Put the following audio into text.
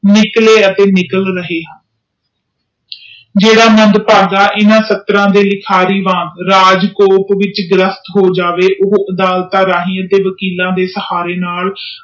ਨਿਕਲੇ ਅਤੇ ਨਿਕਲ ਰਹੇ ਹਨ ਜਿਹੜਾ ਮੰਦਭਾਗਾ ਇਹਨਾਂ ਸਤ੍ਰ ਦੇ ਵਿਚ ਗ੍ਰਿਫਤ ਹੋ ਜਾਵੇ ਉਹ ਅਦਾਲਤਾਂ ਰਾਹੀਂ ਅਤੇ ਵਕੀਲਾਂ ਦੇ ਸਹਾਰੇ ਨਾਲ